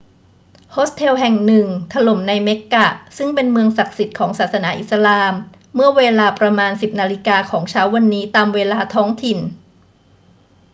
โฮสเทลแห่งหนึ่งถล่มในเมกกะซึ่งเป็นเมืองศักดิ์สิทธิ์ของศาสนาอิสลามเมื่อเวลาประมาณ 10 นาฬิกาของเช้าวันนี้ตามเวลาท้องถิ่น